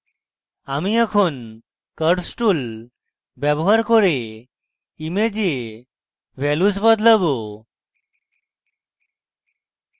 আমি এখন curves tool ব্যবহার করে image values বদলাবো